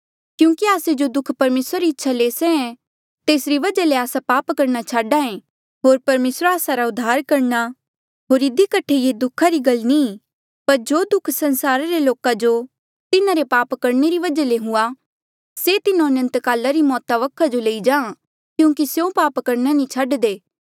क्यूंकि आस्से जो दुःख परमेसरा री इच्छा ले सहे तेसरी वजहा ले आस्सा पाप करणा छाडा ऐ होर परमेसरा आस्सा रा उद्धार करणा होर इधी कठे ये दुखा री गल नी पर जो दुःख संसारा रे लोका जो तिन्हारे पाप करणे री वजहा ले हुआ से तिन्हो अनंतकाला री मौता वखा जो लेई जां क्यूंकि स्यों पाप करणा नी छाडदे